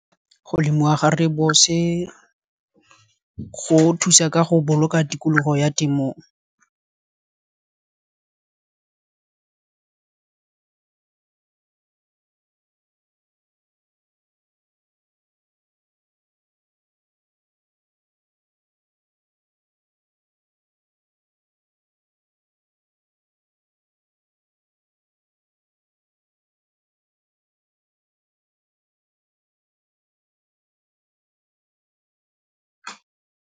Go lemiwa ga rooibos-e go thusa ka go boloka tikologo ya temo, .